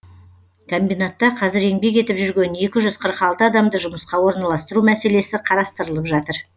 комбинатта қазір еңбек етіп жүрген екі жүз қырық алты адамды жұмысқа орналастыру мәселесі қарастырылып жатыр